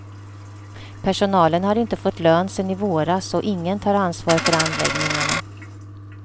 Personalen har inte fått lön sedan i våras och ingen tar ansvar för anläggningarna.